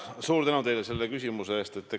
Suur tänu teile selle küsimuse eest!